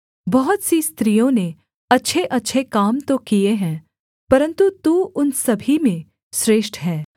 बहुत सी स्त्रियों ने अच्छेअच्छे काम तो किए हैं परन्तु तू उन सभी में श्रेष्ठ है